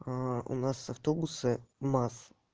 у нас автобусы маз